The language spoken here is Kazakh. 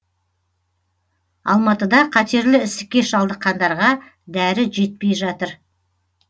алматыда қатерлі ісікке шалдыққандарға дәрі жетпей жатыр